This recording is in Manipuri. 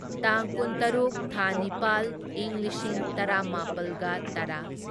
ꯇꯥꯡ ꯀꯨꯟꯇꯔꯨꯛ ꯊꯥ ꯅꯤꯄꯥꯜ ꯢꯪ ꯂꯤꯁꯤꯡ ꯇꯔꯥꯃꯥꯄꯜꯒ ꯇꯔꯥ